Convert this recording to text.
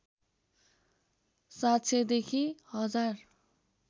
७०० देखि १०००